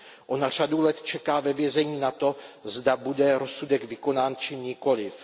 Ona řadu let čeká ve vězení na to, zda bude rozsudek vykonán či nikoliv.